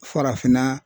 Farafinna